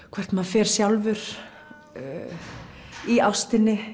hvert maður fer sjálfur í ástinni